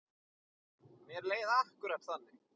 Mér leið akkúrat þannig.